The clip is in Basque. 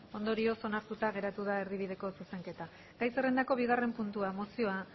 ondorioz onartuta geratu da erdibideko zuzenketa gai zerrendako bigarren puntua mozioa